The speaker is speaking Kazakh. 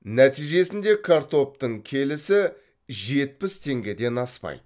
нәтижесінде картоптың келісі жетпіс теңгеден аспайды